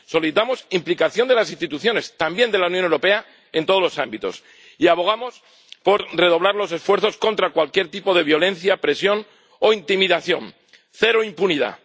Solicitamos implicación de las instituciones, también de la Unión Europea, en todos los ámbitos, y abogamos por redoblar los esfuerzos contra cualquier tipo de violencia, presión o intimidación cero impunidad.